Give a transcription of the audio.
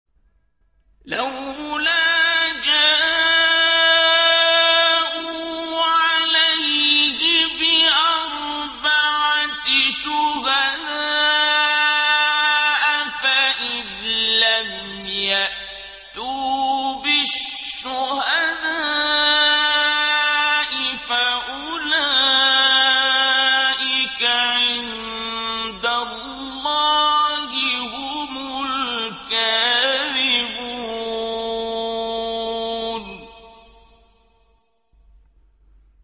لَّوْلَا جَاءُوا عَلَيْهِ بِأَرْبَعَةِ شُهَدَاءَ ۚ فَإِذْ لَمْ يَأْتُوا بِالشُّهَدَاءِ فَأُولَٰئِكَ عِندَ اللَّهِ هُمُ الْكَاذِبُونَ